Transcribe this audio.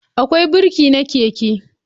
Akwai birki na keke